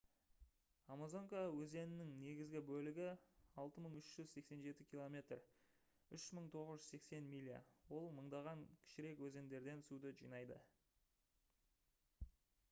амазонка өзенінің негізгі бөлігі — 6387 км 3980 миля. ол мыңдаған кішірек өзендерден суды жинайды